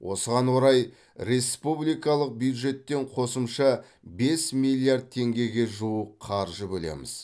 осыған орай республикалық бюджеттен қосымша бес миллиард теңгеге жуық қаржы бөлеміз